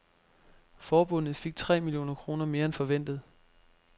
Forbundet fik tre millioner kroner mere end forventet.